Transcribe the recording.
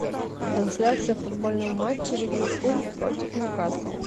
трансляция футбольного матча ливерпуль против ньюкасл